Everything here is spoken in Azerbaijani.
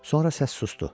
Sonra səs susdu.